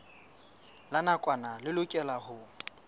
la nakwana le lokelwang ho